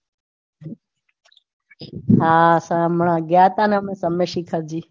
હા હમણાં ગયા તા ને